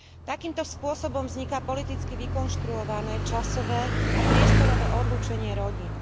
Takýmto spôsobom vzniká politicky vykonštruované časové a priestorové odlúčenie rodín.